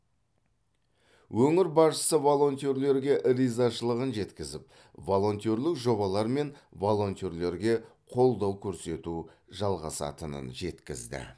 өңір басшысы волонтерлерге ризашылығын жеткізіп волонтерлік жобалар мен волонтерлерге қолдау көрсету жалғасатынын жеткізді